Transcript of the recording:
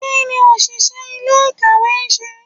kiní oṣiṣẹ ilé-ikáwe nṣe?